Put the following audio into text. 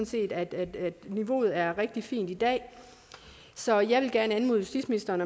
set at niveauet er rigtig fint i dag så jeg vil gerne anmode justitsministeren